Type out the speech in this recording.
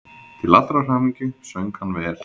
Til allrar hamingju söng hann vel!